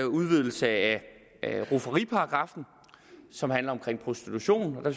udvidelse af rufferiparagraffen som handler om prostitution der